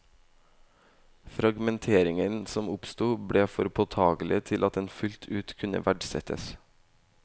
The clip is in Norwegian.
Fragmenteringen som oppsto, ble for påtagelig til at den fullt ut kunne verdsettes.